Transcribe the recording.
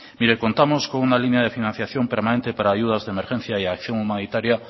mire contamos con una línea de financiación permanente para ayudas de emergencia y acción humanitaria